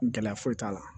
Gɛlɛya foyi t'a la